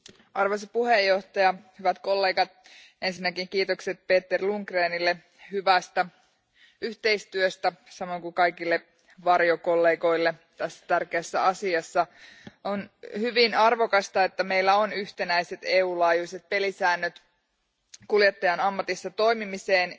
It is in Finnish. Arvoisa puhemies, ensinnäkin kiitokset Peter Lundgrenille hyvästä yhteistyöstä samoin kuin kaikille varjokollegoille tässä tärkeässä asiassa. On hyvin arvokasta, että meillä on yhtenäiset EUn laajuiset pelisäännöt kuljettajan ammatissa toimimiseen.